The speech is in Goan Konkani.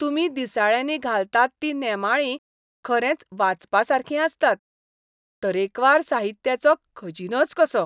तुमी दिसाळ्यांनी घालतात तीं नेमाळीं खरेंच वाचपासारकीं आसतात. तरेकवार साहित्याचो खजिनोच कसो.